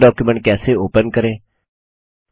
मौजूदा डॉक्युमेंट कैसे ओपन करें